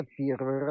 Get yığılır.